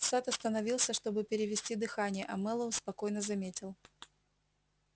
сатт остановился чтобы перевести дыхание а мэллоу спокойно заметил